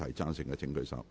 贊成的請舉手。